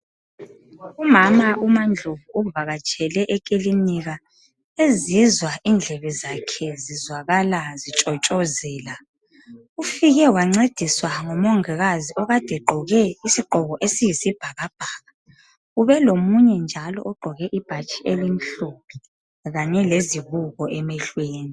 Umama unaNdlovu uvakatshele ekilinika ezizwa indlebe zakhe zizwakala zitshotshozela. Ufike wancediswa ngumongikazi okade egqoke isigqoko eziyisibhakabhaka ubelomunye njalo ogqoke ibhatshi elimhlophe kanye lezibuko emehlweni.